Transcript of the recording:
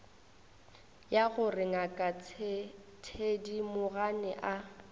ya gore ngaka thedimogane a